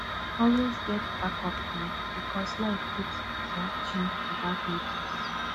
always get backup plan because life fit um change without notice